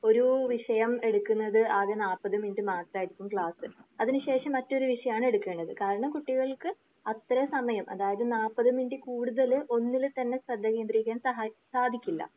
ഒരു വിഷയം എടുക്കുന്നത് ആകെ നൽപ്പത് മിനുട്ട് മാത്രമായിരുന്നു ക്ലാസ്. അതിന് ശേഷം മറ്റൊരു വിഷയമാണ് എടുക്കുന്നത്. കാരണം കുട്ടികൾക്ക് അത്രയും സമയം അതായത് നൽപ്പത് മിനുട്ടിൽ കൂടുതൽ ഒന്നിൽ തന്നെ ശ്രദ്ധ കേന്ദ്രീകരിക്കാൻ സഹാ സാധിക്കില്ല.